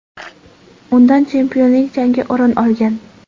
Undan chempionlik jangi o‘rin olgan.